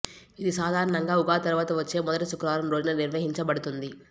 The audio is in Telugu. ఇది సాధారణంగా ఉగాది తరువాత వచ్చే మొదటి శుక్రవారం రోజున నిర్వహించబడుతుంది